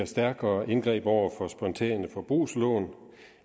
stærkere indgreb over for spontane forbrugslån